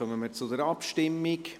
Damit kommen wir zur Abstimmung.